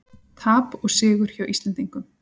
Tap og sigur hjá Íslendingum